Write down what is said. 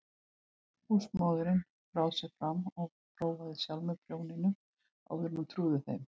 Húsmóðirin brá sér fram og prófaði sjálf með prjóninum áður en hún trúði þeim.